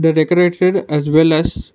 they decorated as well as--